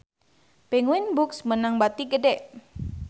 Penguins Books meunang bati gede